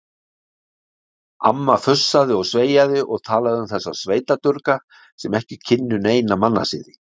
Amma fussaði og sveiaði og talaði um þessa sveitadurga sem ekki kynnu neina mannasiði.